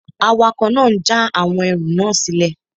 Awakọ̀ náà n já àwọn ẹrù náà sílẹ̀